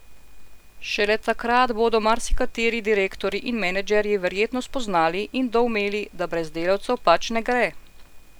Šele takrat bodo marsikateri direktorji in menedžerji verjetno spoznali in doumeli, da brez delavcev pač ne gre!